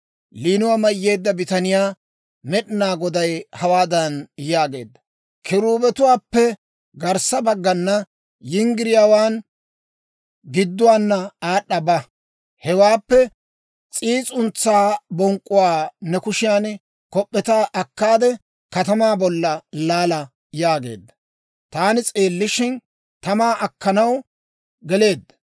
Liinuwaa mayyeedda bitaniyaa Med'inaa Goday hawaadan yaageedda; «Kiruubetuwaappe garssa baggana yinggiriyaawaan gidduwaana aad'a ba; hewaappe s'iis'untsaa bonk'k'uwaa ne kushiyan kop'p'eta akkaade, katamaa bolla laala» yaageedda. Taani s'eellishshin, tamaa akkanaw geleedda.